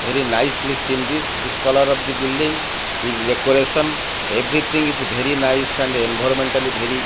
very nicely seen this the colour of the building the decoration everything is bery nice and envormentally bery --